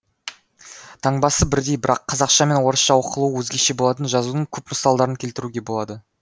таңбасы бірдей бірақ қазақша мен орысша оқылуы өзгеше болатын жазудың көп мысалдарын келтіруге болады